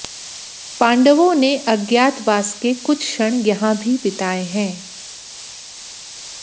पांडवों ने अज्ञातवास के कुछ क्षण यहां भी बिताए हैं